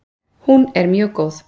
Hún er mjög góð!